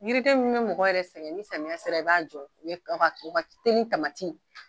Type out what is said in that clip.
Yiriden min be mɔgɔ yɛrɛ sɛgɛn ni samiya sera i b'a jɔ o ye u o ka o ka teli yeeli tamati